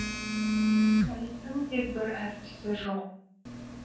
балеттің де бір әртісі жоқ